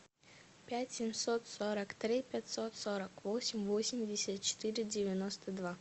пять семьсот сорок три пятьсот сорок восемь восемьдесят четыре девяносто два